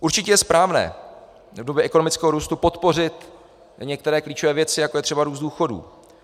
Určitě je správné v době ekonomického růstu podpořit některé klíčové věci, jako je třeba růst důchodů.